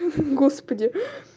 господи